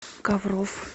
ковров